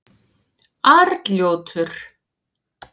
Arnljótur